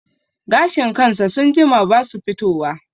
Gashin kansa sun jima basu fito wa